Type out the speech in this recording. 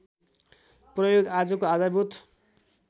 प्रयोग आजको आधारभूत